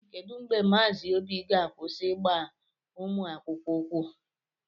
Kedu mgbe Mazi obi ga-akwụsị ịgba ụmụ akwụkwọ ukwu?